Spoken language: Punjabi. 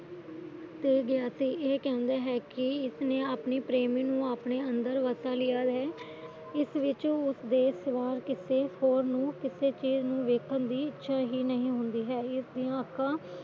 ਤੇ ਗਿਆ ਸੀ ਇਹ ਕਹਿੰਦੇ ਹੈ ਇਸਨੇ ਆਪਣੇ ਪ੍ਰੇਮੀ ਨੂੰ ਆਪਣੇ ਅੰਦਰ ਵਸਾ ਲਿਆ ਹੈ ਇਸ ਵਿੱਚ ਉਸ ਦੇ ਸਿਵਾ ਹੋਰ ਨੂੰ ਵੇਖਣ ਦੀ ਇਛਾ ਹੀ ਨਹੀਂ ਹੁੰਦੀ ਹੈ ਇਸ ਦੀਆਂ ਅੱਖਾਂ